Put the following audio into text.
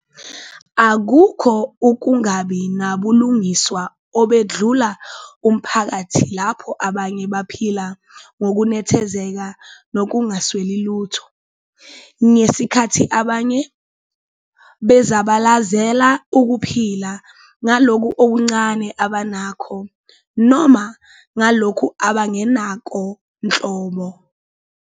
Akukho ukungabi nabulungiswa obedlula umphakathi lapho abanye baphila ngokunethezeka nokungasweli lutho, ngesikhathi abanye bezabalazela ukuphila ngalokhu okuncane abanakho noma ngalokhu abangenakho nhlobo.